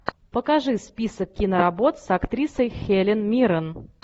покажи список киноработ с актрисой хелен миррен